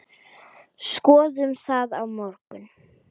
Skoðum það á morgun.